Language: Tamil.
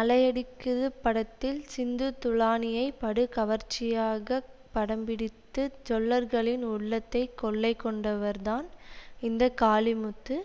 அலையடிக்குது படத்தில் சிந்து துலானியை படு கவர்ச்சியாக படம்பிடித்து ஜொள்ளர்களின் உள்ளத்தை கொள்ளை கொண்டவர்தான் இந்த காளிமுத்து